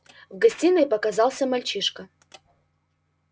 в гостиной показался мальчишка